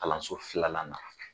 Kalanso filanan na